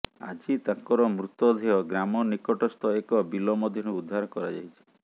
ଆଜି ତାଙ୍କର ମୃତଦେହ ଗ୍ରାମ ନିକଟସ୍ଥ ଏକ ବିଲ ମଧ୍ୟରୁ ଉଦ୍ଧାର କରାଯାଇଛି